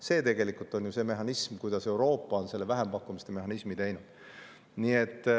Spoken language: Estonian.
See on tegelikult see, kuidas Euroopa on vähempakkumiste mehhanismi teinud.